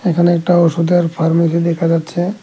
এখানে একটা ওষুধের ফার্মেসি দেখা যাচ্ছে।